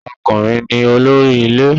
Ọkùnrin ni olórí ilé